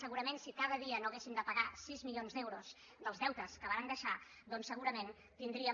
segurament si cada dia no haguéssim de pagar sis milions d’euros dels deutes que varen deixar segurament tindríem